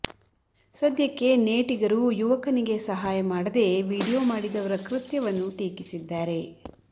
ಸದ್ಯಕ್ಕೆ ನೇಟಿಗರು ಯುವಕನಿಗೆ ಸಹಾಯ ಮಾಡದೇ ವಿಡಿಯೋ ಮಾಡಿದವರ ಕೃತ್ಯವನ್ನು ಟೀಕಿಸಿದ್ದಾರೆ